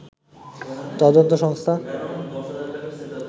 তদন্ত সংস্থা